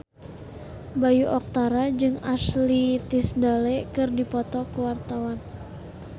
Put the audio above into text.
Bayu Octara jeung Ashley Tisdale keur dipoto ku wartawan